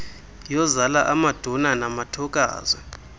yozala amaduna namathokazi